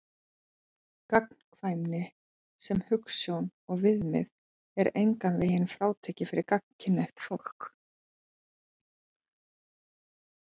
Gagnkvæmni sem hugsjón og viðmið er engan veginn frátekin fyrir gagnkynhneigt fólk.